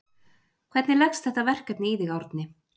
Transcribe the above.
Hvernig leggst þetta verkefni í þig Árni?